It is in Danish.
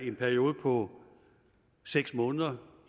en periode på seks måneder